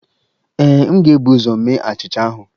Ee, m ga-ebu ụzọ mee achịcha ahụ